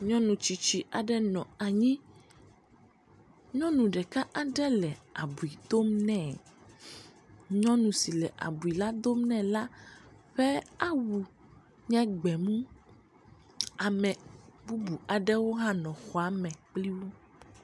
Nyɔnu tsitsi aɖe nɔ anyi, nyɔnu ɖeka aɖe le abui dom nɛ, nyɔnu si le abui la dom nɛ la ƒe awu nye gbemu. Ame bubu aɖewo hã nɔ xɔ me kpli wo.